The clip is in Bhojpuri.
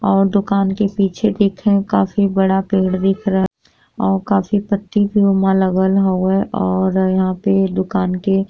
और दुकान के पीछे देखे काफी बड़ा पेड़ दिख रहल और काफी पत्ती के उमा लगल हए और यहाँ पे दुकान के --